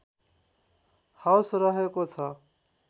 house रहेको छ